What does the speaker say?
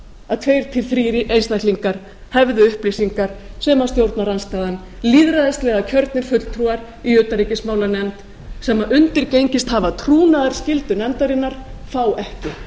að tveir þrír einstaklingar hefðu upplýsingar sem stjórnarandstaðan lýðræðislega kjörnir fulltrúar í utanríkismálanefnd sem undirgengist hafa trúnaðarskyldu nefndarinnar fá ekki